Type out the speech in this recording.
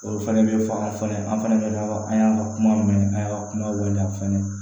Olu fɛnɛ bɛ fɔ an fana an fana bɛ an y'a ka kuma mɛn an y'a kuma wale aw fana